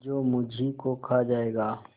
जो मुझी को खा जायगा